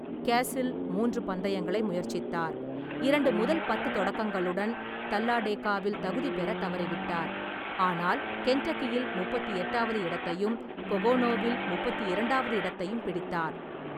கேசில் மூன்று பந்தயங்களை முயற்சித்தார், இரண்டு முதல் பத்து தொடக்கங்களுடன் தல்லாடேகாவில் தகுதி பெறத் தவறிவிட்டார், ஆனால் கென்டக்கியில்முப்பத்தி எட்டாவது இடத்தையும், பொகோனோவில் முப்பத்தி இரண்டாவது இடத்தையும் பிடித்தார்.